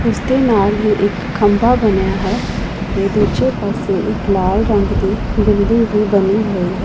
ਇਸ ਦੇ ਨਾਲ ਹੀ ਇੱਕ ਖੰਭਾ ਬਣਿਆ ਹੈ ਤੇ ਦੂਜੇ ਪਾਸੇ ਇੱਕ ਲਾਲ ਰੰਗ ਦੀ ਬਿਲਡਿੰਗ ਵੀ ਬਣੀ ਹੋਈ ਹੈ।